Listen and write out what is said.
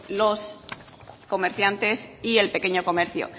los comerciantes y el pequeño comercio